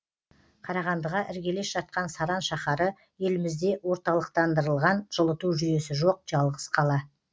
қарағандыға іргелес жатқан саран шаһары елімізде орталықтандырылған жылыту жүйесі жоқ жалғыз қала